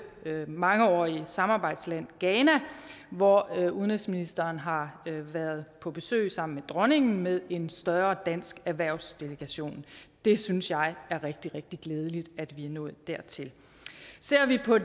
mangeårige samarbejdsland ghana hvor udenrigsministeren har været på besøg sammen med dronningen med en større dansk erhvervsdelegation det synes jeg er rigtig rigtig glædeligt at vi er nået dertil ser vi på